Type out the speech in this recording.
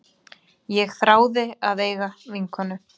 Ég þráði að eiga vinkonu.